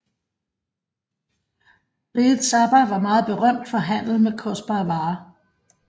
Riget Saba var meget berømt for handel med kostbare varer